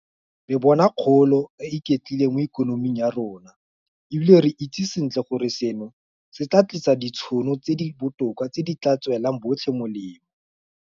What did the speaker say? Re bona kgolo e e iketlileng mo ikonoming ya rona, e bile re itse sentle gore seno se tla tlisa ditšhono tse di botoka tse di tla tswelang botlhe molemo.